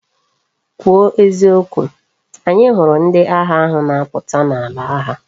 Kwu o eziokwu! anya huru ndi agha ahu na aputa na ala agha!